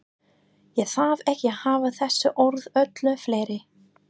Ég þarf ekki að hafa þessi orð öllu fleiri.